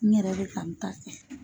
N yɛrɛ bɛ ka n ta kɛ.